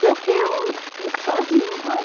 Porque eu fiquei sozinha.